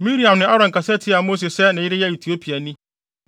Miriam ne Aaron kasa tiaa Mose sɛ ne yere yɛ Etiopiani.